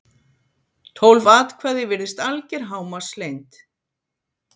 tólf atkvæði virðist alger hámarkslengd